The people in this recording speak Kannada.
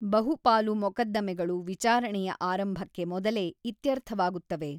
ಬಹುಪಾಲು ಮೊಕದ್ದಮೆಗಳು ವಿಚಾರಣೆಯ ಆರಂಭಕ್ಕೆ ಮೊದಲೇ ಇತ್ಯರ್ಥವಾಗುತ್ತವೆ.